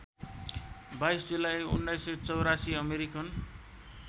२२ जुलाई १९८४ अमेरिकन